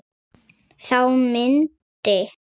Þá myndi